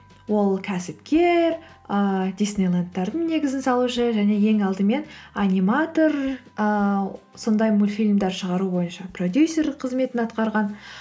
ол кәсіпкер ыыы диснейлэндтардың негізін салушы және ең алдымен аниматор ыыы сондай мультфильмдер шығару бойынша продюсер қызметін атқарған